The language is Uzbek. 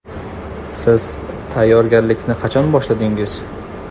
Siz tayyorgarlikni qachon boshladingiz?